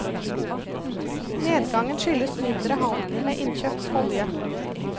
Nedgangen skyldes mindre handel med innkjøpt olje.